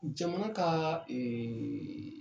Jamana ka ee